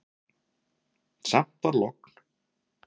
Samt var logn.